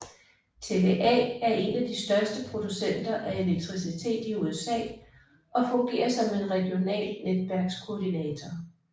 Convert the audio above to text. TVA er en af de største producenter af elektricitet i USA og fungerer som en regional netværkskoordinator